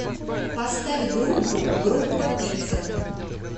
поставь группу группа пицца